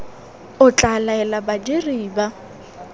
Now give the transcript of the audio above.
o tla laela badiri ba